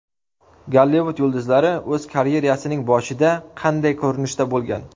Gollivud yulduzlari o‘z karyerasining boshida qanday ko‘rinishda bo‘lgan?